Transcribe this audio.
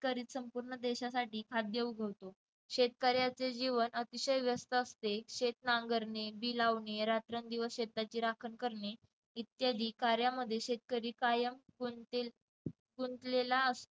करी संपूर्ण देशासाठी खाद्य उगवतो शेतकऱ्याचे जीवन अतिशय व्यस्त असते शेत नांगरणी, बी लावणी, रात्रंदिवस शेताची राखण करणे इत्यादी कार्यामध्ये शेतकरी कायम गुंतले गुंतलेला असतो.